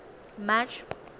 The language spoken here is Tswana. march